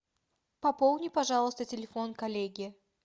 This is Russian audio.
пополни пожалуйста телефон коллеги